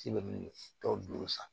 Ci bɛ tɔ duuru san